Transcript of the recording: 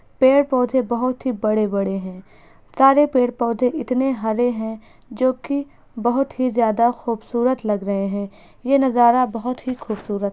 पेड़ पौधे बोहोत ही बड़े-बड़े हैं सारे पेड़ पौधे इतने हरे हैं जो कि बोहोत ही ज्यादा खूबसूरत लग रहे हैं यह नजारा बहुत ही खूबसूरत --